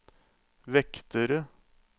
vektere